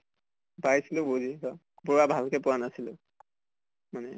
পাইছিলো বুজি so পুৰা ভালকে পোৱা নাছিলো এনে